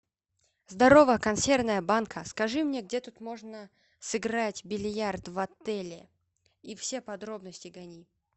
здорово консервная банка скажи мне где тут можно сыграть в бильярд в отеле и все подробности гони